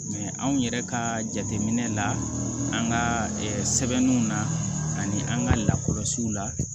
anw yɛrɛ ka jateminɛ la an ka sɛbɛnniw na ani an ka lakɔlɔsiw la